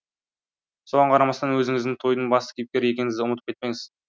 соған қарамастан өзіңіздің тойдың басты кейіпкері екеніңізді ұмытып кетпеңіз